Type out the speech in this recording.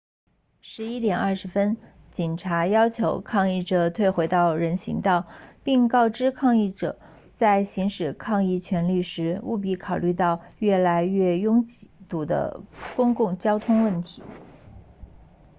11点20分警察要求抗议者退回到人行道并告知抗议者在行使抗议权利时务必考虑到越来越拥堵的公共交通问题